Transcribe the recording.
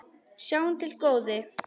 Sjáum til, góði.